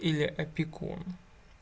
или опекун